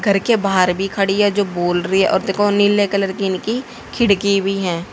घर के बाहर भी खड़ी है जो बोल रही है और देखो नीले कलर की इनकी खिड़की भी हैं।